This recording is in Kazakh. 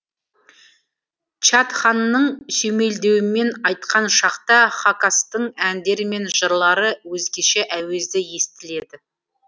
чатханның сүйемелдеуімен айтқан шақта хакастың әндері мен жырлары өзгеше әуезді естіледі